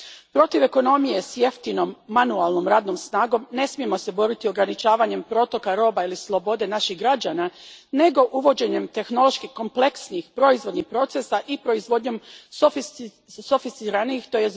Protiv ekonomije s jeftinom manualnom radnom snagom ne smijemo se boriti ograničavanjem protoka roba ili slobode naših građana, nego uvođenjem tehnološki kompleksnijih proizvodnih procesa i proizvodnjom sofisticiranijih, tj.